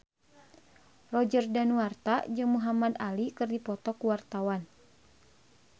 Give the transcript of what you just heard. Roger Danuarta jeung Muhamad Ali keur dipoto ku wartawan